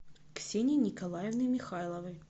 ксении николаевны михайловой